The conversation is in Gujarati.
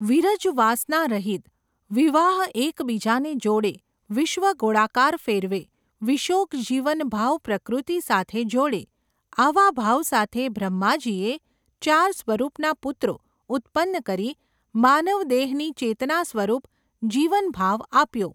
વિરજ વાસના રહિત, વિવાહ એકબીજાને જોડે, વિશ્વ ગોળાકાર ફેરવે, વિશોક જીવન ભાવ પ્રકૃતિ સાથે જોડે, આવા ભાવ સાથે બ્રહ્માજીએ, ચાર સ્વરૂપના પુત્રો, ઉત્પન્ન કરી, માનવ દેહની ચેતના સ્વરૂપ, જીવન ભાવ આપ્યો.